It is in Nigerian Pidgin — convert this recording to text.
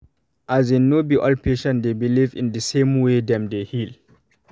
as in no be all patient dey believe in the same way dem dey heal